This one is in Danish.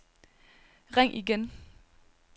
ring igen